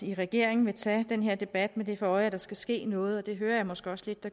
i regeringen vil tage den her debat med det for øje at der skal ske noget og det hører jeg måske også lidt